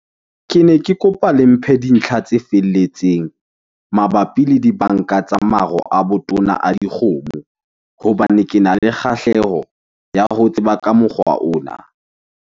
Kene ke kopa le mphe dintlha tse felletseng mabapi le dibanka tsa maro a botona a dikgomo. Hobane kena le kgahleho ya ho tseba ka mokgwa ona.